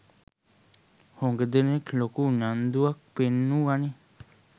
හුග දෙනෙක් ලොකු උනන්දුවක් පෙන්නුවනේ.